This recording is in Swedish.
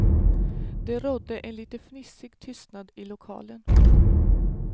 Det rådde en lite fnissig tystnad i lokalen.